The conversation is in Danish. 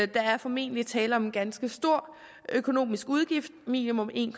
der er formentlig tale om en ganske stor økonomisk udgift minimum en